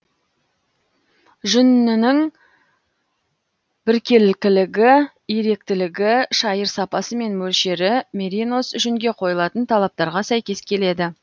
жүнінің біркелкілігі иректілігі шайыр сапасы мен мөлшері меринос жүнге қойылатын талаптарға сәйкес келеді